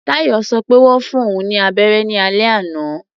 Táyọ̀ sọ pé wọ́n fún òun ní abẹ́rẹ́ ní alẹ́ àná.